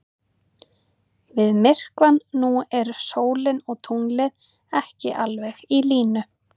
Við myrkvann nú eru sólin og tunglið ekki alveg í línu.